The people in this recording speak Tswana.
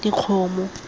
dikgomo